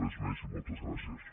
res més i moltes gràcies